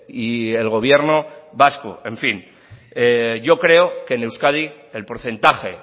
y el gobierno vasco en fin yo creo que en euskadi el porcentaje